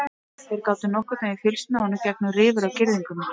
Þeir gátu nokkurn veginn fylgst með honum gegnum rifur á girðingunni.